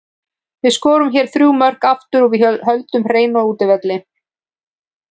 Við skorum hérna þrjú mörk aftur og við höldum hreinu á útivelli.